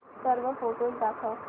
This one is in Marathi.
सर्व फोटोझ दाखव